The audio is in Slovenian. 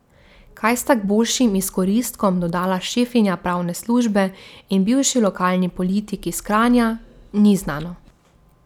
Kaj sta k boljšim izkoristkom dodala šefinja pravne službe in bivši lokalni politik iz Kranja, ni znano.